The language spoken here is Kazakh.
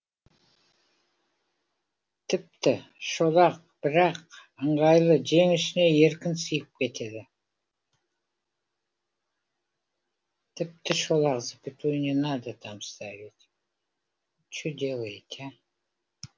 тіпті шолақ бірақ ыңғайлы жең ішіне еркін сыйып кетеді